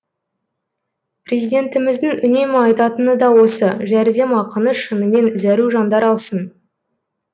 президентіміздің үнемі айтатыны да осы жәрдемақыны шынымен зәру жандар алсын